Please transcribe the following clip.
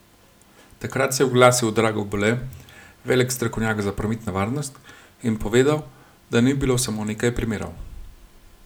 Takrat se je oglasil Drago Bole, velik strokovnjak za prometno varnost, in povedal, da ni bilo samo nekaj primerov.